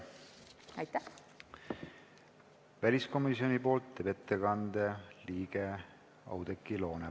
Väliskomisjoni nimel teeb ettekande väliskomisjoni liige Oudekki Loone.